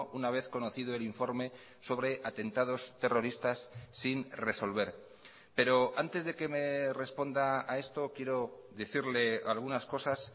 una vez conocido el informe sobre atentados terroristas sin resolver pero antes de que me responda a esto quiero decirle algunas cosas